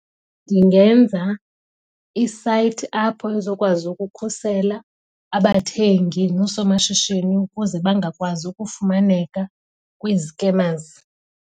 Ndingenza isayithi apho ezokwazi ukukhusela abathengi noosomashishini ukuze bangakwazi ukufumaneka kwi-scammers.